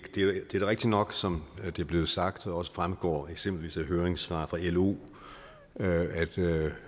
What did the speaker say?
er da rigtigt nok som det er blevet sagt og også fremgår eksempelvis af høringssvar fra lo